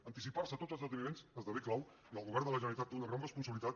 anticipar se a tots els esdeveniments esdevé clau i el govern de la generalitat té una gran responsabilitat